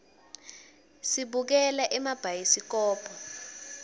sibukela emabhayisikobho